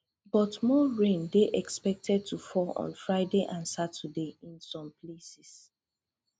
but more rain dey expected to fall on friday and saturday in some places